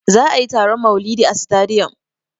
Za'a yi taron maulidi a sitadiyom.